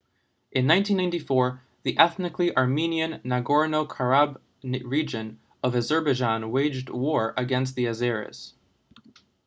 in 1994 the ethnically armenian nagorno-karabakh region of azerbaijan waged war against the azeris